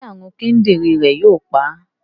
Ṣé àrùn kíndìnrín rẹ̀ yóò pa á?